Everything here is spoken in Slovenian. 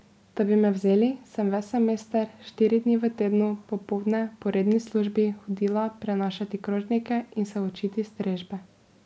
Da bi me vzeli, sem ves semester, štiri dni v tednu, popoldne po redni službi, hodila prenašat krožnike in se učit strežbe.